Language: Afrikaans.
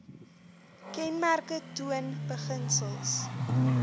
kenmerke toon beginsels